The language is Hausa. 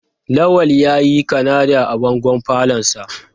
Lawal yayi Kanada a bangon falonsa.